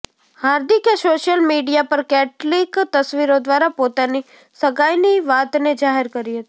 હાર્દિકે social media પર કેટલીક તસવીરો દ્વારા પોતાની સગાઇની વાતને જાહેર કરી હતી